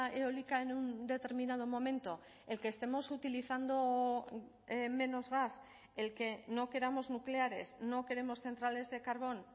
eólica en un determinado momento el que estemos utilizando menos gas el que no queramos nucleares no queremos centrales de carbón